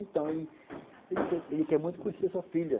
Então, ele quer muito conhecer sua filha.